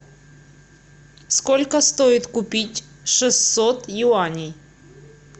сколько стоит купить шестьсот юаней